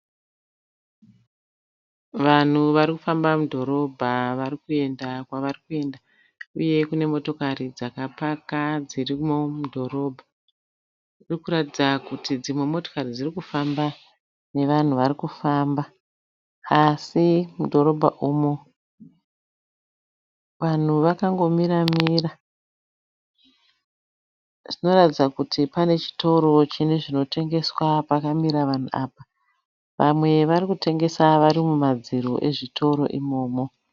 Vanhu varikufamba mudhorobha varikuenda kwarikuenda. Uye kune motokari dzakapaka dzirimo mudhorobha. Zvirikuratidza kuti dzimwe motokari dzirikufamba nevanhu varikufamba. Asi mudhorobha umu vanhu vakangomiranira. Zvinoratidza kuti pane chitoro chine zvinotengeswa pakamira vanhu apa. Vamwe varikutengesa vari mumadziro ezvitoro imomo.